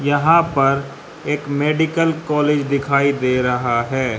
यहां पर एक मेडिकल कॉलेज दिखाई दे रहा है।